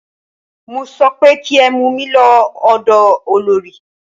Mo sọ pé kí ẹ mú mí lọ ọ̀dọ olorì!